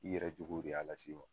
I yɛrɛ jogow de y'a lase i ma.